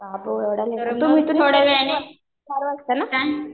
बाबो एवढा वेळ.